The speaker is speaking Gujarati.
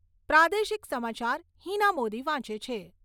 પ્રાદેશિક સમાચાર હીના મોદી વાંચે છે.